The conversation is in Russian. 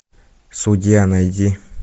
судья найди